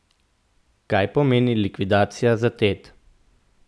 Kaj pomeni likvidacija za Tet?